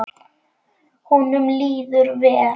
Honum líður vel.